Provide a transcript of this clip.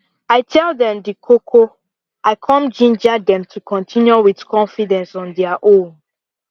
i tell them the koko i come ginger them to continue with confidence on dia own